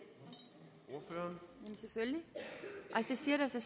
man sætter sig